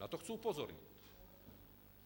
Na to chci upozornit.